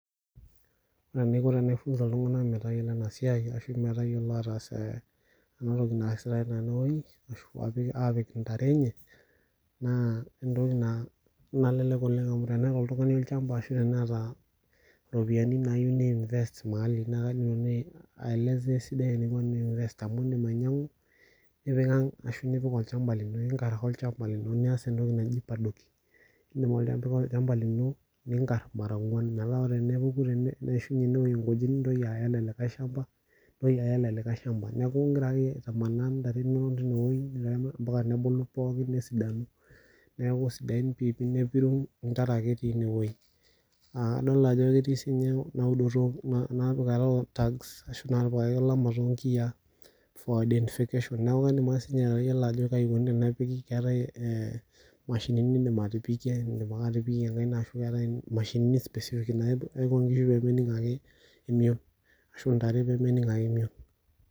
Ore enaiko Tena I funza iltung'ana metayiolo ataas ena siai naa entoki nalelek oleng amu teneta oltung'ani olchamba ashu eropiani nayieu ni invest mahali edim ainyiang'u nipik ang ashu epik olchamba lino engar ake olchamba lino nias entoki naaji paddocking ning'or mara ong'uan metaa tenepuku neyiashunye ene nkujit Niya ele likae shamba neeku egira akeyie amanaa ntare enono mbaka nebulu pookin nesidanu nepiru ntare ake etii enewueji edol Ajo ketii sininye ena pikata olamai too nkiyia for identification neeku edim ake atayiolo enikoni enepiki keetae mashinini nidim atipikie edim atipikie enkaik naa keetae mashinini specific naijio nkishu pee menig emion ashu ntare pee menig ake emion